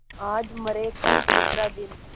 आज मरे कल दूसरा दिन